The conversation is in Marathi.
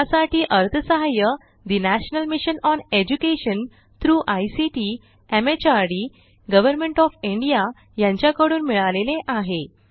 यासाठी अर्थसहाय्य national mission on education through ICT MHRD government of India यांच्याकडून मिळालेले आहे